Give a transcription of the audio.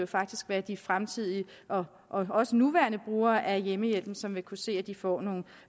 faktisk være de fremtidige og også nuværende brugere af hjemmehjælpen som vil kunne se at de får nogle